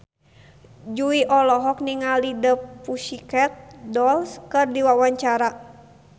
Jui olohok ningali The Pussycat Dolls keur diwawancara